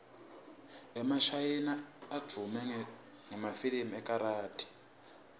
emashayina advume ngemafilimu ekarathi